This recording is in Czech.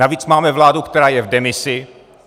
Navíc máme vládu, která je v demisi.